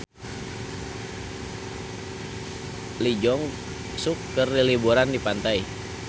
Lee Jeong Suk keur liburan di pantai